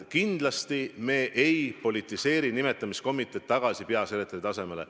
Kindlasti me ei politiseeri nimetamiskomiteed tagasi peasekretäri tasemele.